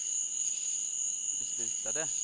beslutade